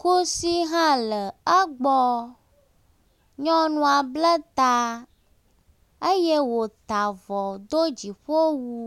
Kusi hã le egbɔ. Nyɔnua ble ta eye wota avɔ do dziƒowu.